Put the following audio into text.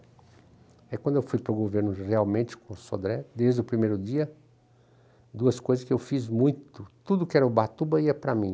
Aí quando eu fui para o governo realmente com o Sodré, desde o primeiro dia, duas coisas que eu fiz muito, tudo que era Ubatuba ia para mim.